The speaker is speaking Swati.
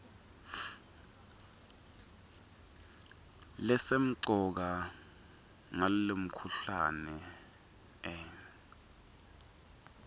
lesemcoka ngalomkhuhlane hn